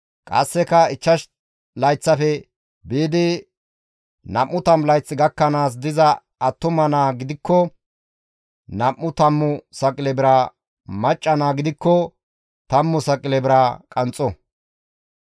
qasseka ichchash layththafe biidi nam7u tammu layth gakkanaas diza attuma naa gidikko nam7u tammu saqile bira, macca naa gidikko tammu saqile bira qanxxo;